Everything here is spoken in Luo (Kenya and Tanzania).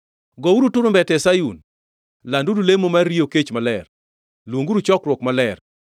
Gouru turumbete e Sayun, landuru lemo mar riyo kech maler, luonguru chokruok maler.